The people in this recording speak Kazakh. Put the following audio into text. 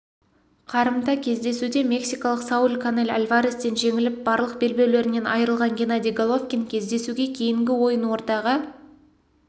қарымта кездесуде мексикалық сауль канель альварестен жеңіліп барлық белбеулерінен айырылған геннадий головкин кездесуге кейінгі ойын ортаға